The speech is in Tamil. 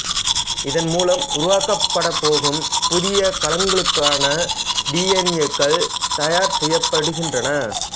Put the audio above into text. இதன் மூலம் உருவாக்கப்படப்போகும் புதிய கலங்களுக்கான டி என் ஏக்கள் தயார் செய்யப்படுகின்றன